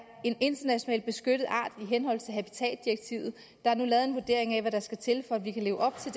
en internationalt beskyttet art i henhold til habitatdirektivet der er nu lavet en vurdering af hvad der skal til for at vi kan leve op til